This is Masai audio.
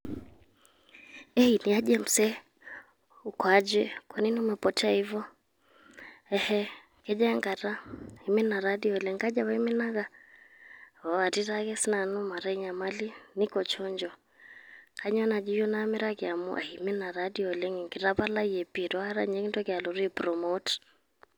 Hae niaje msee? Ukoaje, kwanini umepotea hvo?. Eeh kejua eng'ata? Iminaa taa dei oleng. Kaji apaa imineeka? Oh kati siake nanu maata nyaamali, nko chonjo. Kanyoo najii eyeu naamiraki amu iminaa taa oleng. Kitapalaee pii etuakata ninye eyeuo aipromoot.